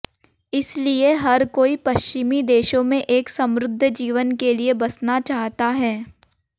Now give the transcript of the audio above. इसलिए हर कोई पश्चिमी देशों में एक समृद्ध जीवन के लिए बसना चाहता है